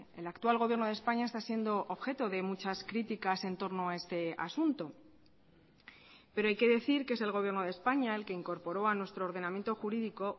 el actual gobierno de españa está siendo objeto de muchas críticas en torno a este asunto pero hay que decir que es el gobierno de españa el que incorporó a nuestro ordenamiento jurídico